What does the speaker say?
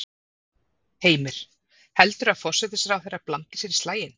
Heimir: Heldurðu að forsætisráðherra blandi sér í slaginn?